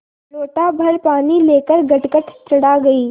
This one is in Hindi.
लोटाभर पानी लेकर गटगट चढ़ा गई